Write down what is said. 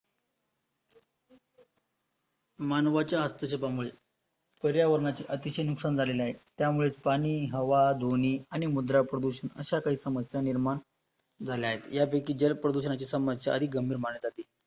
मानवाच्या हस्तक्षेपामुळे, पर्यावरणाचे अतिशय नुकसान झालेले आहे, त्यामुळे पाणी, हवा, दोन्ही आणि मुद्रा प्रदूषण अशा काही समस्या निर्माण झाल्या आहेत, यापैकी जल प्रदूषणाची समस्या अधिक गंभीर मानली जाते